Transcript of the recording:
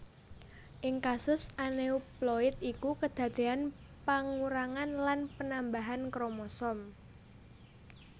Ing kasus anéuploid iku kedadéyan pangurangan lan panambahan kromosom